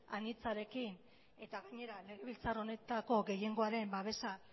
anitzarekin eta gainera legebiltzar honetako gehiengoaren babesa